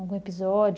Algum episódio?